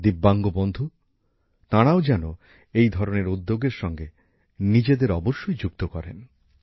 যাদের ভিন্নভাবে সক্ষম বন্ধু আছেন তারাও যেন এই ধরনের উদ্যোগের সঙ্গে নিজেদের অবশ্যই যুক্ত করেন